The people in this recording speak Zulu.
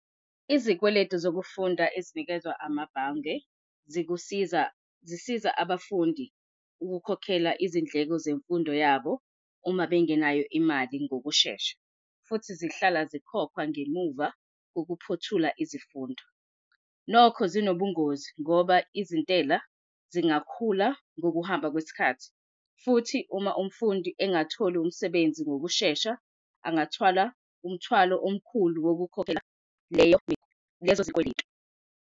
Izikweletu zokufunda ezinikezwa amabhange zikusiza, zisiza abafundi ukukhokhela izindleko zemfundo yabo uma bengenayo imali ngokushesha futhi zihlala zikhokhwa ngemuva ukuphothula izifundo. Nokho, zinobungozi ngoba izintela zingakhula ngokuhamba kwesikhathi, futhi uma umfundi engatholi umsebenzi ngokushesha, abangathwala umthwalo omkhulu wokukhokhela leyo leso sikweletu.